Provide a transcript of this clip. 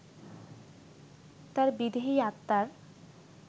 তাঁর বিদেহী আত্মার